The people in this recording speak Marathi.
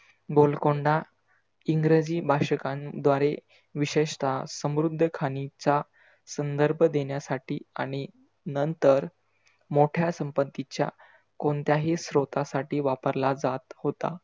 गोलकोंडा इंग्रजी भाषकांद्वारे विशेषतः समृद्ध खाणींच्या संदर्भ देण्यासाठी आणि नंतर मोठ्या संपत्तीच्या कोणत्याही स्रोतासाठी वापरला जात होता.